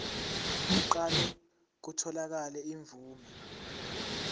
kuqale kutholakale imvume